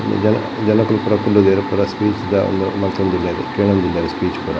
ಜನ ಜನಕುಲು ಪೂರ ಕುಲ್ಲುದೆರ್ ಪೂರ ಸ್ಪೀಚ್ ದ ಉಂದು ಮಂಲ್ತೊಂದುಲ್ಲೆರ್ ಕೇನೊಂದುಲ್ಲೆರ್ ಸ್ಪೀಚ್ ಪೂರ.